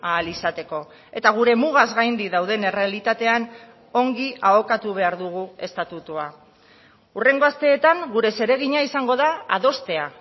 ahal izateko eta gure mugaz gaindi dauden errealitatean ongi ahokatu behar dugu estatutua hurrengo asteetan gure zeregina izango da adostea